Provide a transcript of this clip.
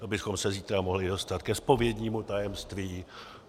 To bychom se zítra mohli dostat ke zpovědnímu tajemství.